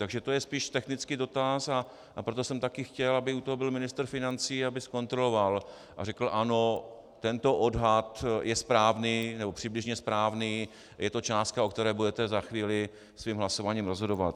Takže to je spíš technický dotaz, a proto jsem taky chtěl, aby u toho byl ministr financí, aby zkontroloval a řekl: ano, tento odhad je správný, nebo přibližně správný, je to částka, o které budete za chvíli svým hlasováním rozhodovat.